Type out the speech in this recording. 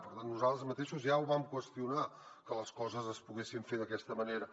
per tant nosaltres mateixos ja ho vam qüestionar que les coses es poguessin fer d’aquesta manera